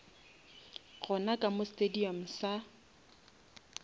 gona ka mo stadium sa